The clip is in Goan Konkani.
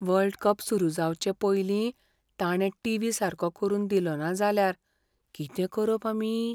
वर्ल्ड कप सुरू जावचेपयलीं ताणे टीव्ही सारको करून दिलोना जाल्यार कितें करप आमी?